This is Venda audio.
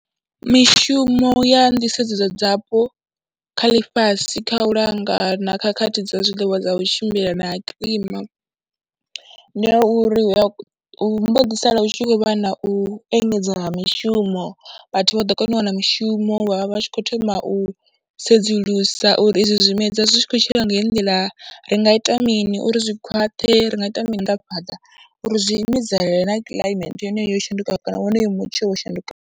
Mishumo ya nḓisedzo dzapo kha ḽifhasi kha u langa na khakhathi dza zwiḽiwa dza u tshimbila na ha kilima ndi ha ya uri hu vha hu mbo ḓi sala hu tshi khou vha na u engedzea ha mishumo, vhathu vha ḓo kona u wana mishumo, vha vha vha tshi khou thoma u sedzulusa uri izwi zwimedzwa zwi tshi khou tshila nga heyi nḓila ri nga ita mini uri zwi khwaṱhe, ri nga ita maanḓafhadza uri zwi imedzana na climate yone yo shandukaho kana wonoyo mutsho wo shandukaho.